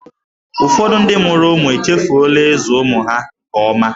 Ụfọdụ ndị mụrụ ụmụ echefuola ịzụ ụmụ ha nke ọma.